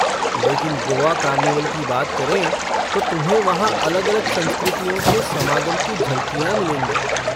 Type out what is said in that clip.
लेकिन गोआ कार्निवल की बात करें तो तुम्हें वहाँ अलग अलग संस्कृतियों के समागम की झलकियाँ मिलेंगी।